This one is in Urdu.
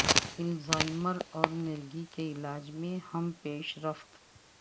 الزائمر اور مرگی کے علاج میں اہم پیش رفت